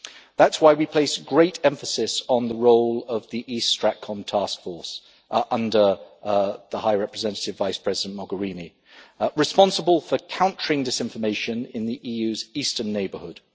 That is why we place great emphasis on the role of the East StratCom Task Force under High Representative Vice President Mogherini, responsible for countering disinformation in the EU's eastern neighbourhood.